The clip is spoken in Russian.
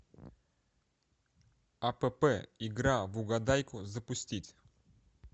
апп игра в угадайку запустить